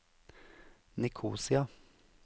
Nikosia